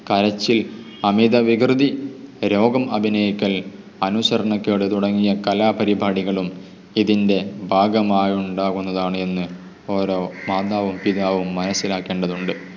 കരച്ചിൽ, അമിത വികൃതി, രോഗം അഭിനയിക്കൽ, അനുസരണക്കേട് തുടങ്ങിയ കലാപരിപാടികളും ഇതിൻ്റെ ഭാഗമായി ഉണ്ടാകുന്നതാണ് എന്ന് ഓരോ മാതാവും പിതാവും മനസിലാക്കേണ്ടതുണ്ട്.